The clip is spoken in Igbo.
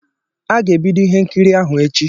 A ga-ebido ihe nkiri ahụ echi.